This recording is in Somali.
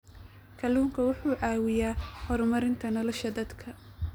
Kalluunku wuxuu caawiyaa horumarinta nolosha dadka.